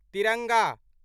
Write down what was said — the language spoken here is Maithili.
तिरंगा